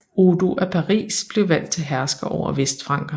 Odo af Paris blev valgt til hersker over vestfrankerne